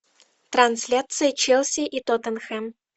трансляция челси и тоттенхэм